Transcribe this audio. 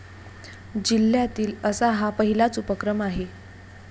जिल्ह्यातील असा हा पहिलाच उपक्रम आहे.